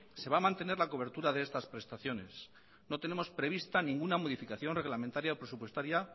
se va a mantener la cobertura de estas prestaciones no tenemos prevista ninguna modificación reglamentaria o presupuestaria